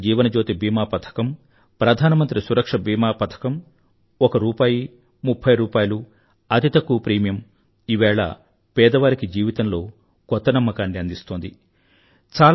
ప్రధానమంత్రి జీవన జ్యోతి బీమా పథకం ప్రధానమంత్రి సురక్షా బీమా పథకం ఒక రూపాయి ముఫ్ఫై రూపాయల అతి తక్కువ ప్రీమియం ఈవేళ పేదవారికి జీవితంలో కొత్త నమ్మకాన్ని అందిస్తోంది